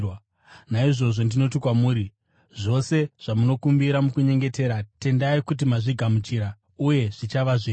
Naizvozvo ndinoti kwamuri, zvose zvamunokumbira mukunyengetera, tendai kuti mazvigamuchira, uye zvichava zvenyu.